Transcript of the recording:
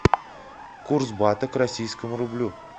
курс бата к российскому рублю